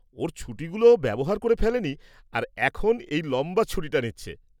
ওর ছুটিগুলো ও ব্যবহার করে ফেলেনি আর এখন এই লম্বা ছুটিটা নিচ্ছে।